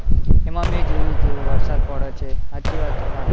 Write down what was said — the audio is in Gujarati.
એમાં મેં જોયું તું વરસાદ પડે છે, સાચી વાત તમારી